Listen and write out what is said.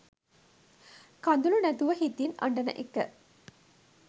කදුලු නැතුව හිතින් අඩන එක